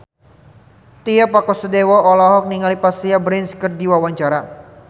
Tio Pakusadewo olohok ningali Vanessa Branch keur diwawancara